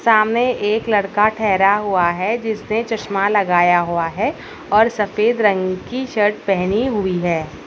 सामने एक लड़का ठहरा हुआ है जिसने चश्मा लगाया हुआ है और सफेद रंग की शर्ट पहनी हुई है।